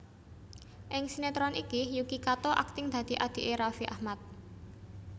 Ing sinetron iki Yuki Kato akting dadi adhiké Raffi Ahmad